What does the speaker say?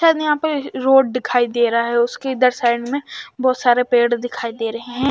शायद यहां पर रोड दिखाई दे रहा है उसके इधर साइड में बहोत सारे पेड़ दिखाई दे रहे हैं।